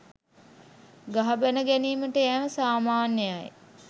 ගහ බැණ ගැනීමට යෑම සාමාන්‍යයයි.